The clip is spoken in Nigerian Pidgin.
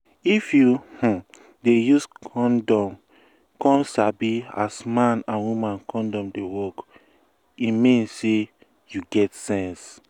if you um dey use condom come sabi as man and woman condom dey work e um mean say you get sense